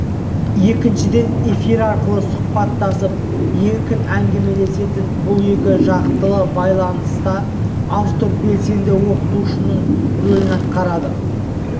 екіншіден эфир арқылы сұхбаттасып еркін әңгімелесетін бұл екі жақтылы байланыста автор белсенді ойлаушының рөлін атқарады